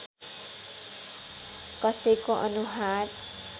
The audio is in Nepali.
कसैको अनुहार